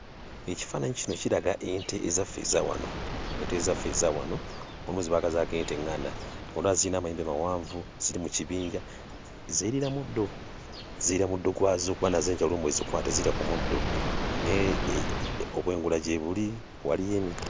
Ekifaananyi kino kiraga ente ezaffe eza wano, ente ezaffe eza wano aba ze baakazaako ente eŋŋanda. Zona ziyina amayembe mawanvu, ziri mu kibinja zeeriira muddo. Zeerira muddo gwazo kuba nazo enjala olumu bw'ezikwata zirya ku muddo. Naye obwengula gyebuli, waliyo emiti.